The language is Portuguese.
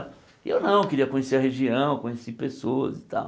E eu não, queria conhecer a região, conheci pessoas e tal.